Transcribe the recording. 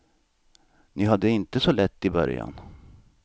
Ni hade det inte så lätt i början.